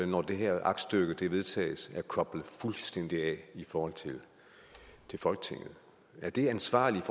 når det her aktstykke vedtages er koblet fuldstændig af i forhold til folketinget er det ansvarligt